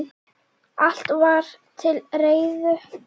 Allt var til reiðu.